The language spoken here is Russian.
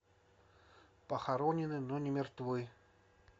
похоронены но не мертвы